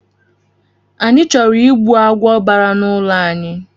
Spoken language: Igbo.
Anyị chọrọ ịgbu agwọ bara na ụlọ anyị